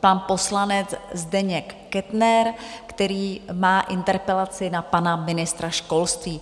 pan poslanec Zdeněk Kettner, který má interpelaci na pana ministra školství.